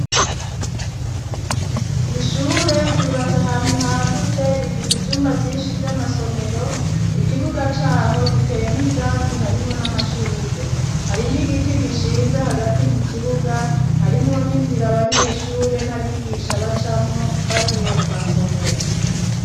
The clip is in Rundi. Ishure ryubatse ahantu hagutse, rifise ivyumba vyinshi vy'amasomero, ikibuga c'aho giteyemwo ivyatsi, harimwo n'amashurwe, hari n'igiti gishinze hagati mu kibuga, harimwo n'inzira abanyeshure n'abigisha bacamwo bagiye mu masomero.